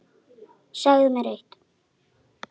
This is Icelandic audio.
Segðu mér eitt.